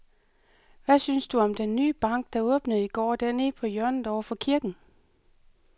Hvad synes du om den nye bank, der åbnede i går dernede på hjørnet over for kirken?